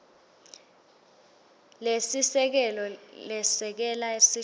lesisekelo lesekela sihloko